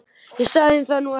Ég sagði það nú ekki